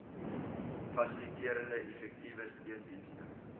fasiliterende effektiewe steundienste